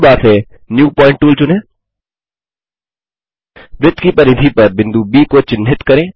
toolbar से new point tool चुनें वृत्त की परिधि पर बिंदु ब को चिन्हित करें